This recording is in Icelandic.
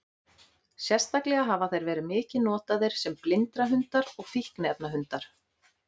Sérstaklega hafa þeir verið mikið notaðir sem blindrahundar og fíkniefnahundar.